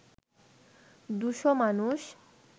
দুশো মানুষ